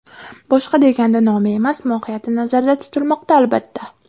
Boshqa deganda nomi emas, mohiyati nazarda tutilmoqda, albatta.